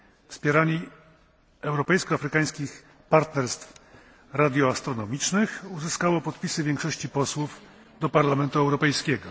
wspieranie europejsko afrykańskich partnerstw radioastronomicznych uzyskało podpisy większości posłów do Parlamentu Europejskiego.